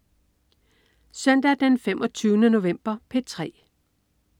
Søndag den 25. november - P3: